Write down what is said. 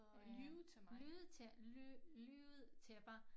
Øh lyve lyve ly lyvede til mig